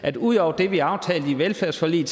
at ud over det vi aftalte i velfærdsforliget